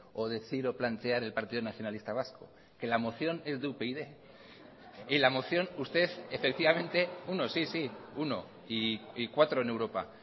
o decir o plantear el partido nacionalista vasco que la moción es de upyd y la moción usted efectivamente uno sí sí uno y cuatro en europa